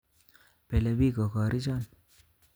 Belebik kokori'chon